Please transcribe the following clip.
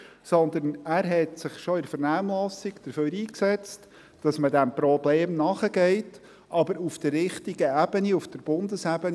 Vielmehr hat er sich bereits in der Vernehmlassung dafür eingesetzt, dass man diesem Problem nachgeht, aber auf der richtigen Ebene, auf der Bundesebene.